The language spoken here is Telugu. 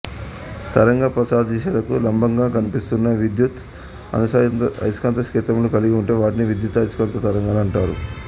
తరంగ ప్రసారథిశకు లంబంగా కంపిస్తున్న విద్యుత్ అయస్కాంత క్షేత్రములు కలిగి ఉంటే వాటిని విద్యుదయస్కాంత తరంగాలు అంటారు